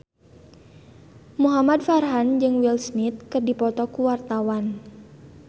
Muhamad Farhan jeung Will Smith keur dipoto ku wartawan